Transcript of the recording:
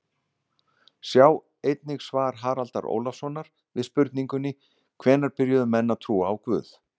Sjá einnig svar Haraldar Ólafssonar við spurningunni Hvenær byrjuðu menn að trúa á guð?